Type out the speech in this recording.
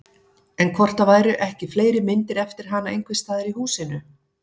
En hvort það væru ekki fleiri myndir eftir hana einhvers staðar í húsinu?